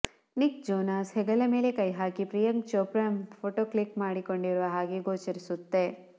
Nick Jonas ಹೆಗಲ ಮೇಲೆ ಕೈ ಹಾಕಿ ಪ್ರಿಯಾಂಕಾ ಛೋಪ್ರಾ ಫೋಟೋ ಕ್ಲಿಕ್ ಮಾಡಿಕೊಂಡಿರುವ ಹಾಗೆ ಗೋಚರಿಸುತ್ತೆ